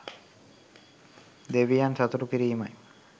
දෙවියන් සතුටු කිරීමයි.